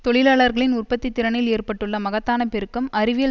தொழிலாளர்களின் உற்பத்தித்திறனில் ஏற்பட்டுள்ள மகத்தான பெருக்கம் அறிவியல்